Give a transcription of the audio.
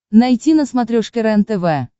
найти на смотрешке рентв